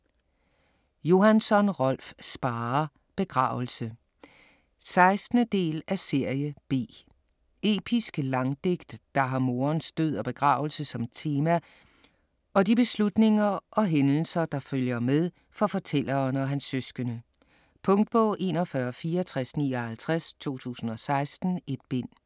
Johansson, Rolf Sparre: Begravelse 16. del af Serie B. Episk Langdigt, der har morens død og begravelse som tema og de beslutninger og hændelser, der følger med det for fortælleren og hans søskende. Punktbog 416459 2016. 1 bind.